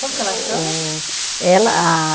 Como que ela chama? Ela a